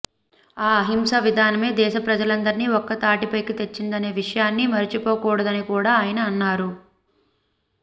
ఈ అహింసా విధానమే దేశ ప్రజలందరినీ ఒక్కతాటిపైకి తెచ్చిందనే విషయాన్ని మరిచిపోకూడదని కూడా ఆయన అన్నారు